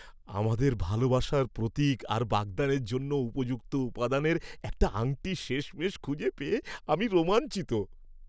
আমাদের ভালোবাসার প্রতীক আর বাগদানের জন্য উপযুক্ত উপাদানের একটা আংটি শেষমেশ খুঁজে পেয়ে আমি রোমাঞ্চিত।